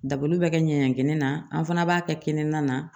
Dabaliw bɛ kɛ ɲɛɲɛkɛnɛ na an fana b'a kɛ kini na